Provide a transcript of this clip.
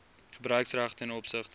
gebruiksreg ten opsigte